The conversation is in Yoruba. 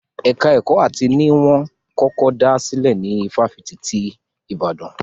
Ẹka ẹ̀kọ́ áàtì ni wọ́n kọ́kọ́ dá sílè ní ifáfitì ti Ìbàdàn.